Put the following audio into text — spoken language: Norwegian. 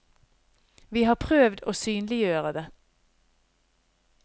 Vi har prøvd å synliggjøre det.